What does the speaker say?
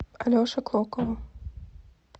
алеше клокову